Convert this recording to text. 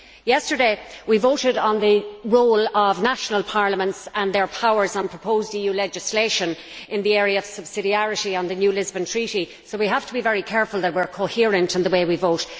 Yesterday, we voted on the role of national parliaments and their powers on proposed EU legislation in the area of subsidiarity under the new Lisbon Treaty, so we have to be very careful that we are coherent in the way we vote.